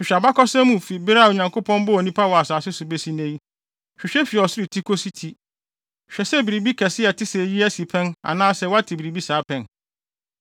Hwehwɛ abakɔsɛm mu fi bere a Onyankopɔn bɔɔ nnipa wɔ asase so besi nnɛ yi; hwehwɛ fi ɔsoro ti de kosi ti. Hwɛ sɛ biribi kɛse a ɛte sɛ eyi asi pɛn anaasɛ woate biribi saa pɛn?